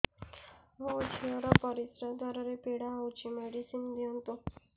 ମୋ ଝିଅ ର ପରିସ୍ରା ଦ୍ଵାର ପୀଡା ହଉଚି ମେଡିସିନ ଦିଅନ୍ତୁ